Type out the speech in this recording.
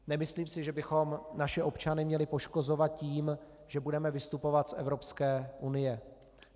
Nemyslím si, že bychom naše občany měli poškozovat tím, že budeme vystupovat z Evropské unie.